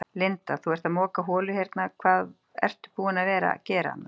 Linda: Þú ert að moka holu og hérna, hvað ertu búin að vera gera annars?